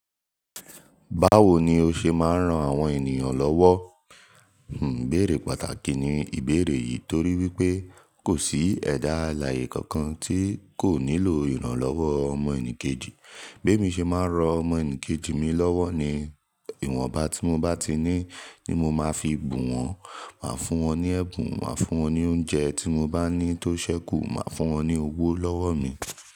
Báwo ni o ṣe máa ń ran àwọn ènìyàn lọ́wọ́? Hmmm, ìbéèrè pàtàkì ni ìbéèrè yìí torí wípé kò sí ẹ̀dá alààyè kankan tí kò nílò ìrànlọ́wọ́ ọmọ ẹnì kejì. Bí èmi ṣe máa ń ro ọmọ ẹnì kejì mi lọ́wọ́ ni ìwọ̀nba tí mo bá ti ní ni mo máa fi bù wọ́n, màá fún wọn ní ẹ̀bùn, màá fún wọn ní oúnjẹ tí mo bá ní tó ṣẹ́kù, màá fún wọn ní owó lọ́wọ́ mi.